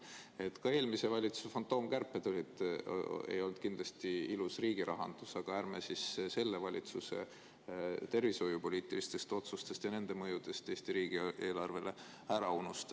Ega eelmise valitsuse fantoomkärpedki olnud ilus riigirahandus, aga ärme siis ka selle valitsuse tervishoiupoliitilisi otsuseid ja nende mõju Eesti riigieelarvele ära unustame.